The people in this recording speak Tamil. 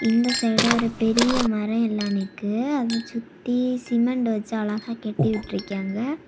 இந்த சைடு ஒரு பெரிய மர எல்லா நிக்கு அது சுத்தி சிமெண்ட் வச்சு அழகா கட்டி விட்டிருக்கியாங்க.